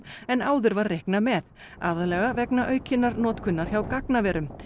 en áður var reiknað með aðallega vegna aukinnar notkunar hjá gagnaverum